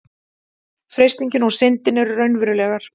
freistingin og syndin eru raunverulegar